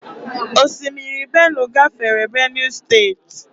Osimiri Benue gafere Benue steeti.